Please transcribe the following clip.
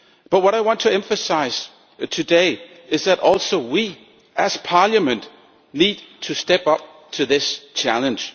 What I want to emphasise today is that we too, as Parliament, need to step up to this challenge.